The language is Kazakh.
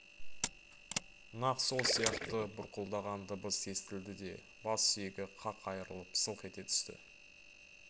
нақ сол сияқты бұрқылдаған дыбыс естілді де бас сүйегі қақ айрылып сылқ ете түсті